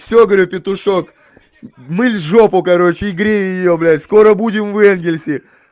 всё говорю петушок мыль жопу короче и грей её блядь скоро будем в энгельсе